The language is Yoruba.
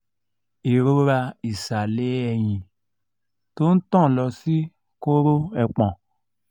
irora isale eyin to n tan lo si koro epon